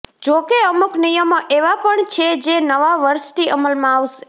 જો કે અમુક નિયમો એવા પણ છે જે નવા વર્ષથી અમલમાં આવશે